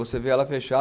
Você vê ela fecha